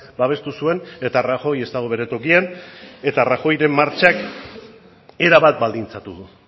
babestu zuen eta rajoy ez dago bere tokian eta rajoyren martxak erabat baldintzatu du